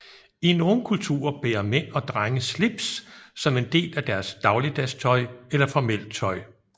I nogle kulturer bærer mænd og drenge slips som en del af deres dagligdags tøj eller formelt tøj